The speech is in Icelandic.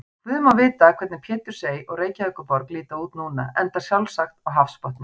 Guð má vita hvernig Pétursey og Reykjaborg líta út núna, enda sjálfsagt á hafsbotni.